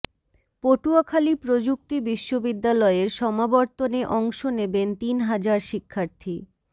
পটুয়াখালী প্রযুক্তি বিশ্ববিদ্যালয়ের সমাবর্তনে অংশ নেবেন তিন হাজার শিক্ষার্থী